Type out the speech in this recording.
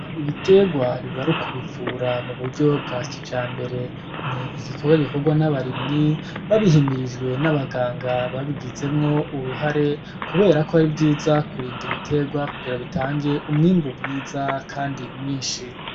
Gupompa ibiterwa bib'ar'ukubivura muburyo bwakijambere ,ni'gikorwa gikorwa n'abarimyi babihimirijwe, n'abaganga babigezwemwo uruhara kuberako ari vyiza kurind'ibiterwa kugira bitange umwimbu mwiza kandi mwinshi.